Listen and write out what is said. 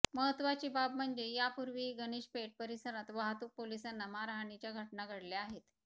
महत्वाची बाब म्हणजे यापूर्वीही गणेशपेठ परिसरात वाहतूक पोलिसांना मारहाणीच्या घटना घडल्या आहेत